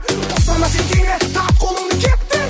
босамаса тиме тарт қолыңды кеттік